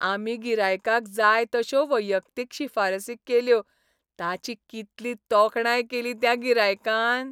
आमी गिरायकाक जाय तश्यो वैयक्तीक शिफारसी केल्यो ताची कितली तोखणाय केली त्या गिरायकान!